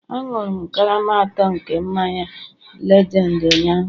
Aṅụrụ m karama atọ nke mmanya lejendi ụnyaahụ